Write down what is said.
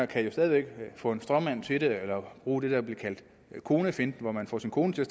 kan jo stadig væk få en stråmand til det eller de bruge det der bliver kaldt konefinten hvor man får sin kone til at